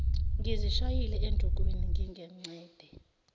ngizishayile endukwini ngingengcede